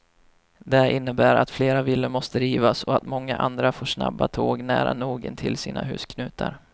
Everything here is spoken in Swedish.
Det innebär att flera villor måste rivas och att många andra får snabba tåg nära nog intill sina husknutar.